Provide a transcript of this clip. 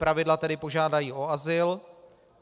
Zpravidla tedy požádají o azyl.